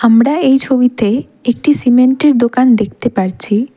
আমরা এই ছবিতে একটি সিমেন্টের দোকান দেখতে পারছি।